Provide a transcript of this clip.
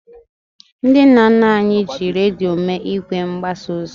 Ndị nna nna anyị ji redio mee ìgwè mgbasa ozi.